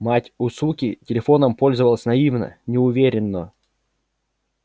мать у суки телефоном пользовалась наивно неуверенно